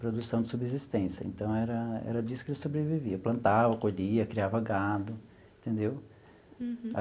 produção de subsistência, então era era disso que ele sobrevivia, plantava, colhia, criava gado, entendeu?